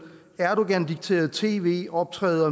erdogandikterede tv optræder